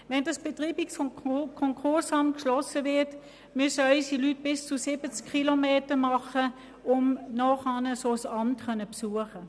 Wenn das Betreibungs- und Konkursamt geschlossen wird, müssen unsere Leute bis zu 70 Kilometer fahren, um ein solches Amt zu besuchen.